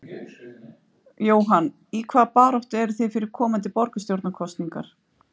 Jóhann: Í hvaða baráttu eruð þið fyrir komandi borgarstjórnarkosningar?